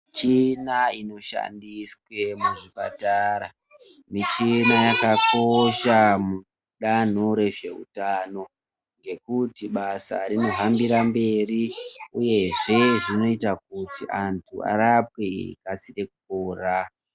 Michina inoshandiswe muzvipatara, michina yakakosha mudanho rezveutano ngekuti basa rinohambira mberi uyezve zvinoita kuti antu arapwe akasire kupora.